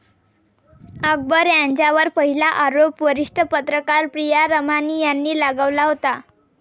अकबर यांच्यावर पहिला आरोप वरिष्ठ पत्रकार प्रिया रमानी यांनी लगावला होता.